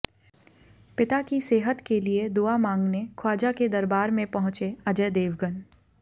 पिता की सेहत के लिए दुआ मांगने ख्वाजा के दरबार में पहुंचे अजय देवगन